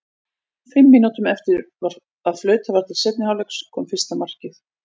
Fimm mínútum eftir að flautað var til seinni hálfleiks kom fyrsta markið.